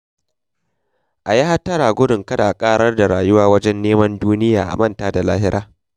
A yi hattara gudun kada a ƙarar da rayuwa wajen neman duniya a manta da lahira.